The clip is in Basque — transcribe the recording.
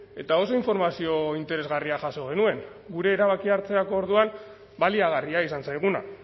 eta oso informazio interesgarria jaso genuen gure erabakia hartzerako orduan baliagarria izan zaiguna